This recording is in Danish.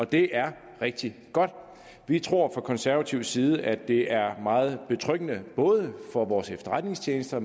det er rigtig godt vi tror fra konservativ side at det er meget betryggende både for vores efterretningstjenester